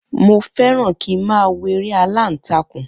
Mo fẹ́ràn kí ń má wo eré aláǹtakùn.